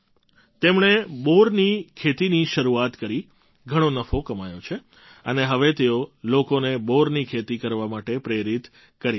તેમણે બોરની ખેતીની શરૂઆત કરી ઘણો નફો કમાયો છે અને હવે તેઓ લોકોને બોરની ખેતી કરવા માટે પ્રેરિત પણ કરી રહ્યા છે